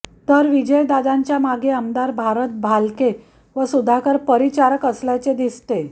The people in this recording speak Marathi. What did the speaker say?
तर विजयदादांच्या मागे आमदार भारत भालके व सुधाकर परिचारक असल्याचे दिसते